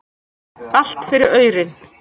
Allt fyrir aurinn.